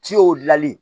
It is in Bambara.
Ciw dilanli